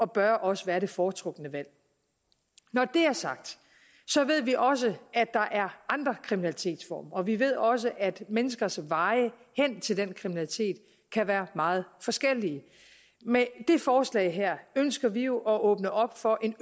bør også være det foretrukne valg når det er sagt så ved vi også at der er andre kriminalitetsformer og vi ved også at menneskers vej hen til den kriminalitet kan være meget forskellig med det forslag her ønsker vi jo at åbne op for en